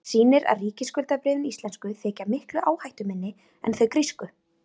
Það sýnir að ríkisskuldabréfin íslensku þykja miklu áhættuminni en þau grísku.